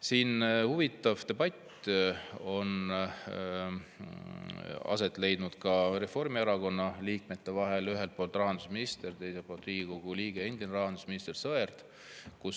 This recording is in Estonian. Siin on huvitav debatt aset leidnud Reformierakonna liikmete vahel, ühel pool rahandusminister, teisel pool Riigikogu liige ja endine rahandusminister Sõerd.